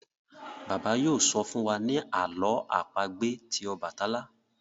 Bàbá yóò sọ fún wá ní àlọ́ àpagbè tí obatalá.